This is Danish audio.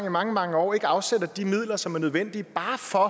i mange mange år ikke afsætter de midler som er nødvendige bare for